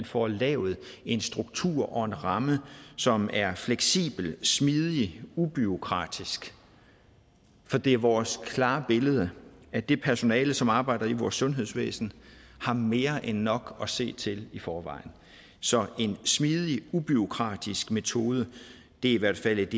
får lavet en struktur og en ramme som er fleksibel smidig ubureaukratisk for det er vores klare billede at det personale som arbejder i vores sundhedsvæsen har mere end nok at se til i forvejen så en smidig ubureaukratisk metode er i hvert fald